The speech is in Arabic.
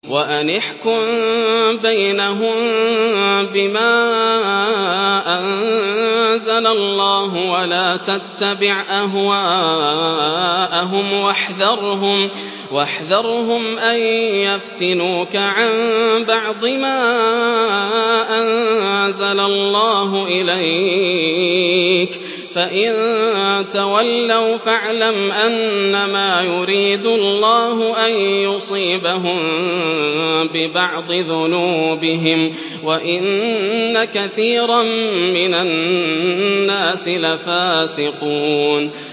وَأَنِ احْكُم بَيْنَهُم بِمَا أَنزَلَ اللَّهُ وَلَا تَتَّبِعْ أَهْوَاءَهُمْ وَاحْذَرْهُمْ أَن يَفْتِنُوكَ عَن بَعْضِ مَا أَنزَلَ اللَّهُ إِلَيْكَ ۖ فَإِن تَوَلَّوْا فَاعْلَمْ أَنَّمَا يُرِيدُ اللَّهُ أَن يُصِيبَهُم بِبَعْضِ ذُنُوبِهِمْ ۗ وَإِنَّ كَثِيرًا مِّنَ النَّاسِ لَفَاسِقُونَ